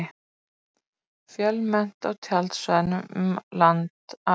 Fjölmennt á tjaldsvæðum um land allt